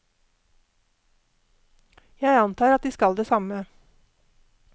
Jeg antar at de skal det samme.